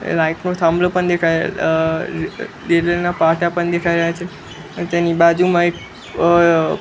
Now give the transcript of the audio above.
એ light નો થાંભલો પણ દેખાય અ રેલ્વે ના પાટા પણ દેખાય રહ્યા છે અને તેની બાજુમાં એક અ--